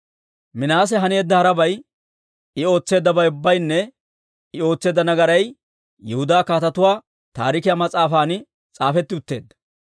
Minaase haneedda harabay, I ootseeddabay ubbaynne I ootseedda nagaraabay Yihudaa Kaatetuu Taarikiyaa mas'aafan s'aafetti utteedda.